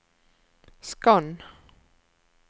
skann